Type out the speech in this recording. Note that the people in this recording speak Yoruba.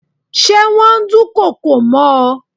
Ṣé wón dùn kokò mọ́ ọ.